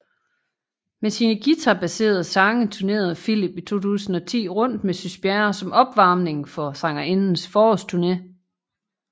Med sine guitarbaserede sange turnerede Philip i 2010 rundt med Sys Bjerre som opvarmning for sangerindens forårsturne